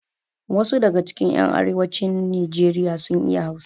Wasu daga cikin yan arewacin nijeriya sun iya hausa